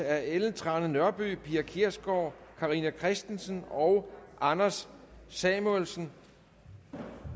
af ellen trane nørby pia kjærsgaard carina christensen og anders samuelsen